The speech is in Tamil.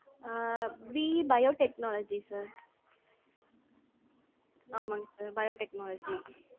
Ah BE biotechnology sir. ஆமாங்க sir biotechnology.